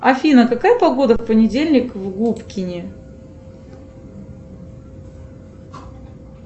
афина какая погода в понедельник в губкине